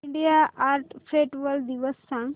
India art festival दिवस सांग